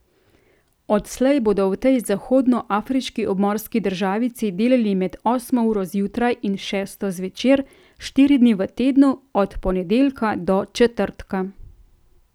Odslej bodo v tej zahodnoafriški obmorski državici delali med osmo uro zjutraj in šesto zvečer, štiri dni v tednu, od ponedeljka do četrtka.